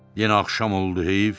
Yenə axşam oldu, heyif.